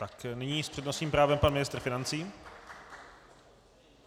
Tak nyní s přednostním právem pan ministr financí.